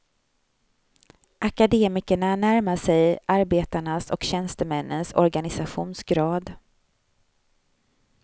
Akademikerna närmar sig arbetarnas och tjänstemännens organisationsgrad.